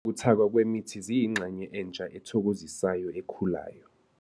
Ukuthakwa kwemithi ziyingxenye entsha ethokozisayo ekhulayo.